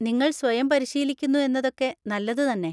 നിങ്ങൾ സ്വയം പരിശീലിക്കുന്നു എന്നതൊക്കെ നല്ലത് തന്നെ.